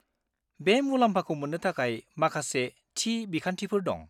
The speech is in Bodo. बे मुलाम्फाखौ मोन्नो थाखाय माखासे थि बिखान्थिफोर दं।